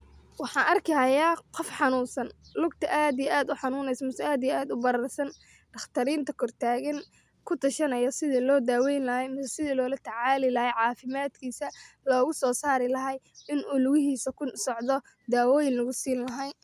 Waxan arki hyaa qof xanuunsan lugta aad iyo aad uxanuneysa ama aad iyo aad ubararsan daqtariinta kortaagan kutashanaya sidha loo daweeyn laxaa mise loola tacaali laxaa caafimadkiisa loogasosarimlaxa in u luguhiisa kusocdo daawoyin lagusiini laxaay.